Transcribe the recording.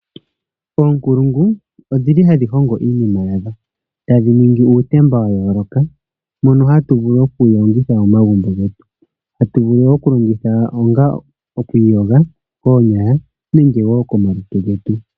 Oonkulungu odhili hadhi hongo iinima yadho, tadhi ningi uutemba wa yooloka mono hatu vulu okuwu longitha momagumbo getu. Atuvulu okulongitha onga okwiiyoga koonyala nenge woo komalutu getu.